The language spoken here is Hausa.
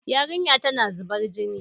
Yarinyar tana zubar jini